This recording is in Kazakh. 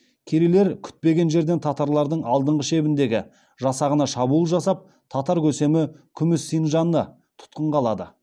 керейлер күтпеген жерден татарлардың алдыңғы шебіндегі жасағына шабуыл жасап татар көсемі күміс синджанды тұтқынға алады